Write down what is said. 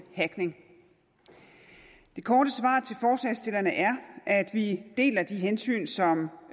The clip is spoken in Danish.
hackning det korte svar til forslagsstillerne er at vi deler de hensyn som